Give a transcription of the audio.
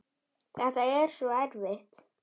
Þetta er svo erfitt.